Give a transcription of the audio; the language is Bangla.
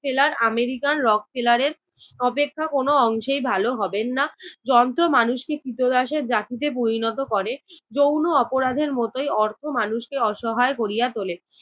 seller আমেরিকান rock seller এর অপেক্ষা কোনো অংশেই ভালো হবেন না। যন্ত্র মানুষকে কৃতদাসের জাতিতে পরিণত করে। যৌন অপরাধের মতই অর্থ মানুষকে অসহায় করিয়া তোলে।